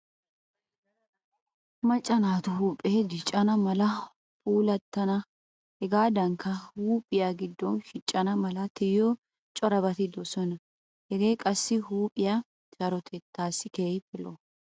Macca naatu huuphee diccana malanne puulattana hegaadankka huuphiya giddoykka shiccana mala tiyiyo corabati de'oosona. Hagee qassi huuphiya sarotettaassi keehippe lo'o.